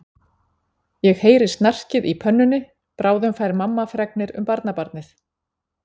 Ég heyri snarkið í pönnunni, bráðum fær mamma fregnir um barnabarnið.